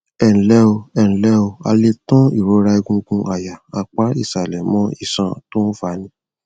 ẹǹlẹ o ẹǹlẹ o a lè tan ìrora egungun àyà apá ìsàlẹ mọ iṣan tó ń fani